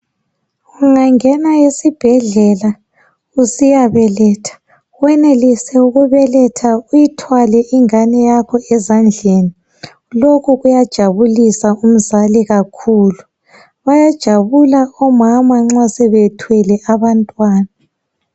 ungangena esibhedlela usiyabeletha wenelise ukubeletha uyithwale ingane ezandleni lokhu kuyajabulisa umzali kakhulu bayajabula omama nxa sebethwele abantwana